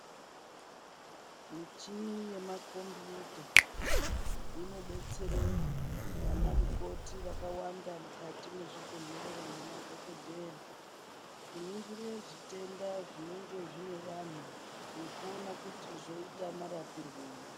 Michini yemakombiyuta, inodetsere, vanamukoti vakawanda mukati mwezvibhedhlera nemadhhokodheya, kuningire zvitenda zvinenge zvine vanhu, nekuona kuti zvoita marapirwei.